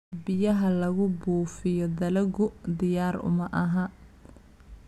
Biyaha lagu buufiyo dalaggu diyaar uma aha.